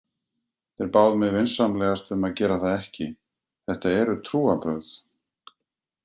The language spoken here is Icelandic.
Þeir báðu mig vinsamlegast um að gera það ekki, þetta eru trúarbrögð.